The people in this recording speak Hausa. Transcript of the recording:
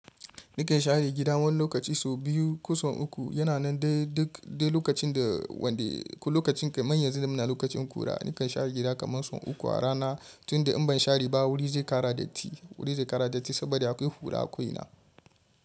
Na kan share gida wani lokaci sau biyu, ko sau uku. Yana nan dai duk dai lokacin da wanda lokacin ka manyan yanzu muna lokacin ƙura. Ni kan share gida kaman sau uku a rana tunda in ban share ba wuri zai ƙara datti. Wuri zai ƙara datti saboda akwai ƙura a ko ina.